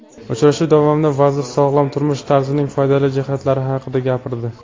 Uchrashuv davomida vazir sog‘lom turmush tarzining foydali jihatlari haqida gapirdi.